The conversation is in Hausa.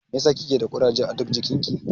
Mai ya sa kike da kuraje a ɗuk jikin ki?